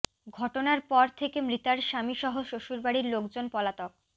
ঘটনার পর থেকে মৃতার স্বামী সহ শ্বশুরবাড়ির লোকজন পলাতক